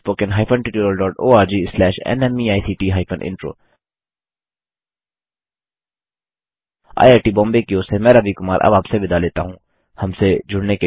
spoken hyphen tutorial dot O R G slash NMEICT hyphen intro IIT Bombay की ओर से मैं रवि कुमार अब आपसे विदा लेता हूँ